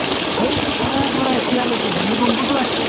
সেইটো সময়ৰ পৰা এতিয়ালৈকে ভূমিকম্প টো আহিছে